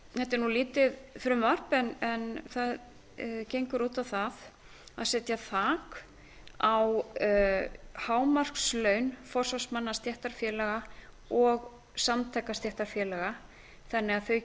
þetta er lítið frumvarp en það gengur út á það að setja þak á hámarkslaun forsvarsmanna stéttarfélaga og samtaka stéttarfélaga þannig